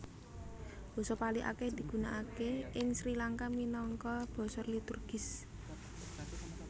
Basa Pali akèh digunakaké ing Sri Langka minangka basa liturgis